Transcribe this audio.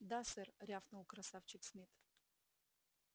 да сэр рявкнул красавчик смит